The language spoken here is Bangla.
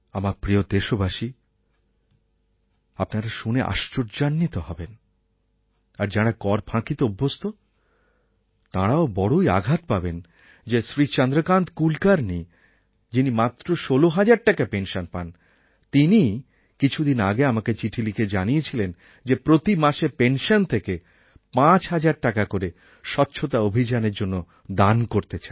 আমার প্রিয় দেশবাসী আপনারা শুনে আশ্চর্যান্বিত হবেন আর যাঁরা কর ফাঁকিতে অভ্যস্ত তাঁরাও বড়োই আঘাত পাবেন যে শ্রী চন্দ্রকান্ত কুলকার্ণি যিনি মাত্র ১৬০০০ টাকা পেনশন পান তিনিই কিছুদিন আগে আমাকে চিঠি লিখে জানিয়েছিলেন যে প্রতি মাসের পেনশন থেকে ৫০০০ টাকা করে স্বচ্ছতা অভিযানএর জন্য দান করতে চান